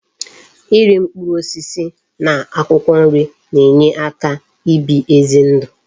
Iri mkpụrụ osisi na akwụkwọ nri na enye aka ibi ezi ndu